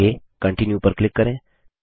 आगे कंटीन्यू पर क्लिक करें